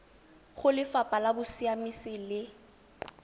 go lefapha la bosiamisi le